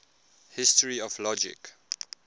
history of logic